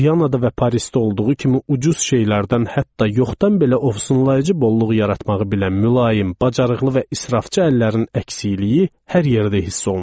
Viyanada və Parisdə olduğu kimi ucuz şeylərdən hətta yoxdan belə ovsunlayıcı bolluq yaratmağı bilən mülayim, bacarıqlı və israfçı əllərin əksikliyi hər yerdə hiss olunurdu.